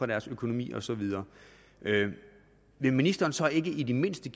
deres økonomi og så videre vil ministeren så ikke i det mindste